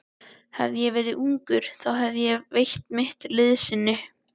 Hefði ég verið ungur, þá hefði ég veitt mitt liðsinni.